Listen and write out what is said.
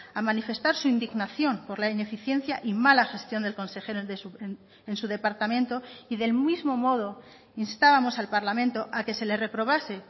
a manifestar su indignación por la ineficiencia y mala gestión del consejero en su departamento y del mismo modo instábamos al parlamento a que se le reprobase